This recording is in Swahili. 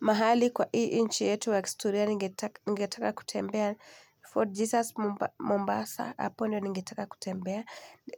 Mahali kwa hii nchi yetu wa kistoria ninget ningetaka kutembea. Fort Jesus mo Mombasa hapo ndio ningetaka kutembea.